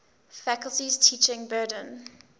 faculty's teaching burden